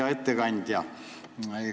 Hea ettekandja!